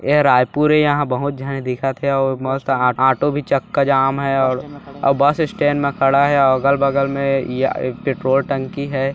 यह रायपुर ए यहाँ बहुत झने दिखत हे अऊ मस्त ऑटो भी चक्का जाम हे अऊ बस स्टैंड मे खड़ा हे और अगल बगल मे ये आ पेट्रोल टंकी है।